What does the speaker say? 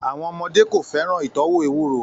Àwọn ọmọdé kò fẹ́ràn ìtọ́wò ewuro